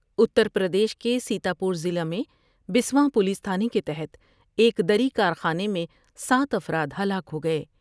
اتر پردیش کے سیتا پور ضلع میں بسواں پولیس تھانے کے تحت ایک دری کارخانے میں سات افراد ہلاک ہو گئے ۔